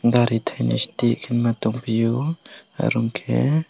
gari thaini sidi khema tongphio arong khe.